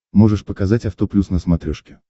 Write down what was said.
можешь показать авто плюс на смотрешке